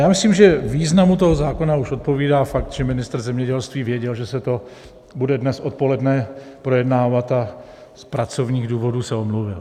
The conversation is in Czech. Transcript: Já myslím, že významu toho zákona už odpovídá fakt, že ministr zemědělství věděl, že se to bude dnes odpoledne projednávat, a z pracovních důvodů se omluvil.